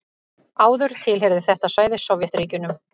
Áður tilheyrði þetta svæði Sovétríkjunum.